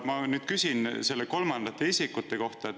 Ma nüüd küsin selle kolmanda isiku kohta.